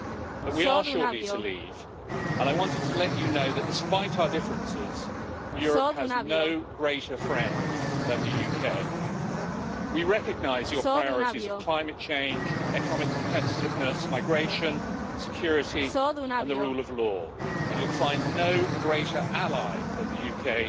But we are shortly to leave, and I wanted to let you know that, despite our differences, Europe has no greater friend than the UK. We recognise your priorities of climate change, economic competitiveness, migration, security and the rule of law, and you'll find no greater ally than the UK